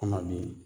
Kɔnɔdimi